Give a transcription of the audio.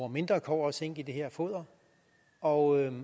mindre kobber og zink i foderet og